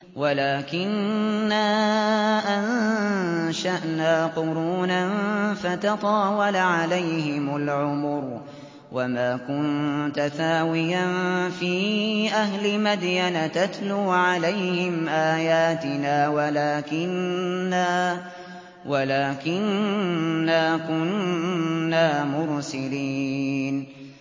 وَلَٰكِنَّا أَنشَأْنَا قُرُونًا فَتَطَاوَلَ عَلَيْهِمُ الْعُمُرُ ۚ وَمَا كُنتَ ثَاوِيًا فِي أَهْلِ مَدْيَنَ تَتْلُو عَلَيْهِمْ آيَاتِنَا وَلَٰكِنَّا كُنَّا مُرْسِلِينَ